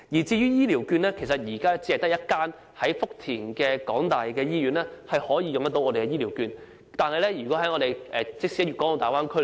至於醫療券，現時只有一間由香港大學在福田經營的醫院可以使用醫療券，即使在大灣區......